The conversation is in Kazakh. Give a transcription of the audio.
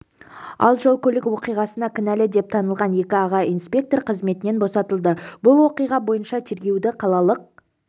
ал жол-көлік оқиғасына кінәлі деп танылған екі аға инспектор қызметінен босатылды бұл оқиға бойынша тергеуді қалалық